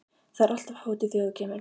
Það er alltaf hátíð þegar þú kemur.